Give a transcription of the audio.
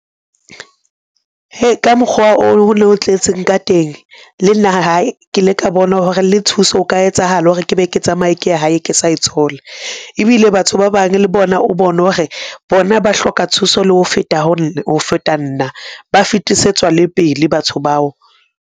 Hei, ka mokgwa o ne o tletseng ka teng. Le nna hae ke ile ka bona hore le thuso ho ka etsahala hore ke be ke tsamaye ke ye hae ke sa e tshola. Ebile batho ba bang le bona, o bone hore bona ba hloka thuso le ho feta nna ba fetisetswa le pele batho bao.